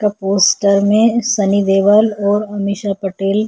poster में सनी देओल और अमीषा पटेल--